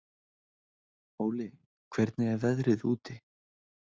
Óli, hvernig er veðrið úti?